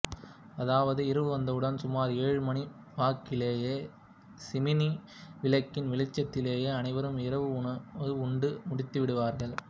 அதாவது இரவு வந்தவுடன் சுமாா் ஏழு மணிவாக்கிலேயே சிம்னி விளக்கின் வெளிச்சத்திலேயே அனைவரும் இரவு உணவை உண்டு முடித்துவிடுவார்கள்